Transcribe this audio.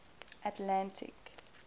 atlantic